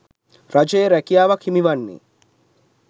රජයේ රැකියාවක් හිමිවන්නේ